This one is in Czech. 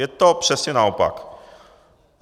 Je to přesně naopak.